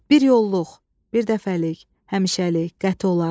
Bir yolluq, bir dəfəlik, həmişəlik, qəti olaraq.